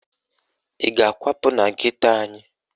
Ị ga-akwapụ na geto anyị?